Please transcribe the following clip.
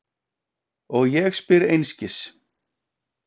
Og ég spyr einskis.